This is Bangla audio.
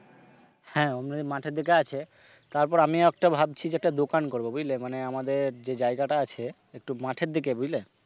হ্যাঁ ওমনি মাঠের দিকে আছে তারপর আমিও একটা ভাবছি যে একটা দোকান করবো বুঝলে মানে আমাদের যে জায়গাটা আছে একটু মাঠের দিকে বুঝলে,